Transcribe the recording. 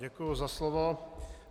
Děkuji za slovo.